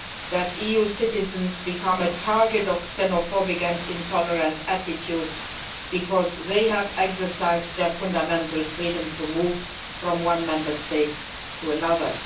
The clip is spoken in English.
that EU citizens should become the target of xenophobic and intolerant attitudes because they have exercised their fundamental freedom to move from one Member State to another.